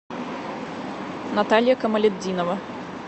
наталья камалетдинова